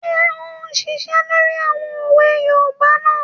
Ṣé ò ún ṣiṣẹ́ lórí àwọn òwe yoòbá náà?